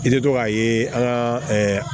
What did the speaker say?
I bɛ to k'a ye an ka